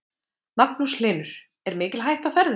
Magnús Hlynur: Er mikil hætta á ferðum?